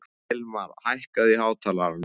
Hilmir, hækkaðu í hátalaranum.